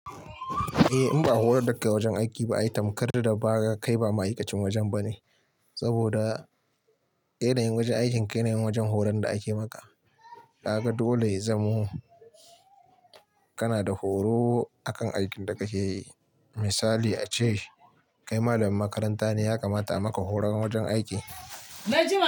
Eh, in ba a horar da kai wajen aiki ba ai tamkar da ba kai ba ma'aikacin wajen ba ne. Saboda yanayin wajen aikinka yanayin wajen horon da aka yi maka. Kaga dole ya zamo kana da horo akan aikin da kake yi. Misali a ce kai malamin makaranta ne ya kamata a maka horon wajen aiki. Na ji ma.